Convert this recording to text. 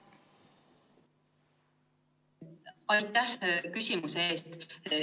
Aitäh küsimuse eest!